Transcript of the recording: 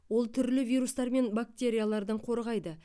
ол түрлі вирустар мен бактериялардан қорғайды